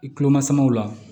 I kuloma samaw la